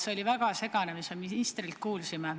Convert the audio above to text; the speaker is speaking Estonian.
See oli väga segane, mis me ministrilt kuulsime.